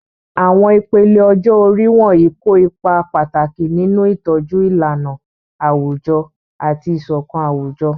Àwọn ìpele ọjọ́ orí wọ̀nyí kó ipa pàtàkì nínú ìtọ́jú ìlànà àwùjọ àti ìṣọ̀kan àwùjọ.